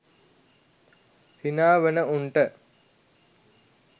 හිනා වන උන්ට